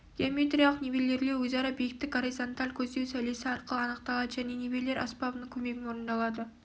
геометриялық нивелирлеу өзара биіктік горизанталь көздеу сәулесі арқылы аңықталады және нивелир аспабының көмегімен орындалады